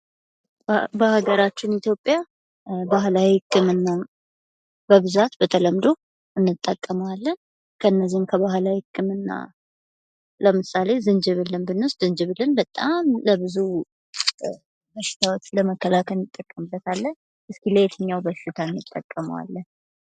በሀገራችን ኢትዮጵያ ባህላዊ ህክምና በብዛት በተለምዶ እንጠቀመዋለን ከነዚህም ከባህላዊ ህክምና ለምሳሌ ዝንጅብልን ብንወስድ ዝንጅብልን በጣም ለብዙ በሽታዎች ለመከላከል እንጠቀምበታለን እስኪ ለየትኛው በሽታ እንጠቀመዋለን።